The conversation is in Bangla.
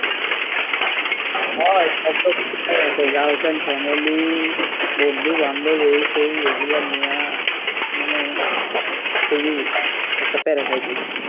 হ সব ধরণের প্যারা আছে, girlfriend, family, বন্ধু বান্ধব এই সেই এইগুলা নিয়া মানে খুব ই একটা প্যারা খাইতেছি।